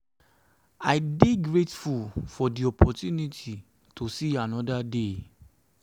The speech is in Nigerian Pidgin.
i um dey grateful for di opportunity to see anoda day.